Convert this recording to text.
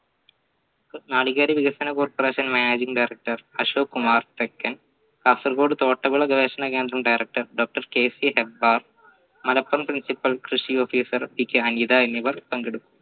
നാളികേര വികസന corporation managing director Ashok Kumar second Kasaragod തോട്ടവിള ഗവേഷണ കേന്ദ്രം director doctorKC മലപ്പുറം principle കൃഷി officer എന്നിവർ പങ്കെടുക്കും